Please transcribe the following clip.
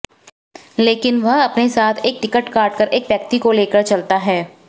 लेकिन वह अपने साथ टिकट काटकर एक व्यक्ति को लेकर चलता है